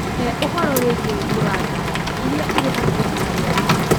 He ũhoro wĩgiĩ ũingi wa ngari iria irĩ hakuhĩ na harĩa ndĩ